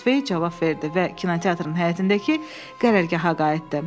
Mitensvey cavab verdi və kinoteatrın həyətindəki qərargaha qayıtdı.